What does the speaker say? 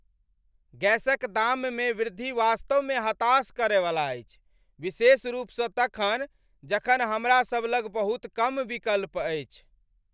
गैसक दाममे वृद्धि वास्तवमे हताश करैवला अछि, विशेष रूपसँ तखन, जखन हमरासभ लग बहुत कम विकल्प अछि।